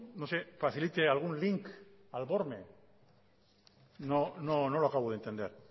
facilite algún link no lo acabo de entender